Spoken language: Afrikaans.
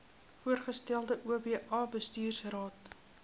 voorgestelde oba bestuursraad